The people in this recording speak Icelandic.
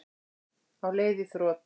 Á leið í þrot